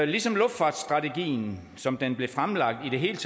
ligesom luftfartsstrategien som den blev fremlagt handler det her